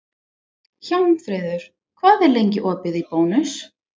Hjálmfríður, hvað er lengi opið í Bónus?